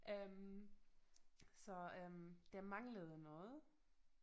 Øh så øh der manglede noget